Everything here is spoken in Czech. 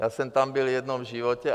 Já jsem tam byl jednou v životě.